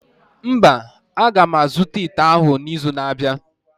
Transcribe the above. Mba, a ga m azụta ite ahụ n'izu na-abịa.